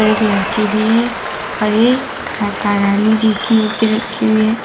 एक लड़की भी है और एक माता रानी जी की मूर्ति रखी हुई है।